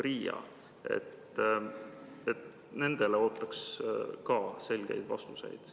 Nendele küsimustele ootaks ka selgeid vastuseid.